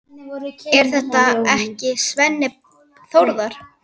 Er þetta ekki Svenni Þórðar?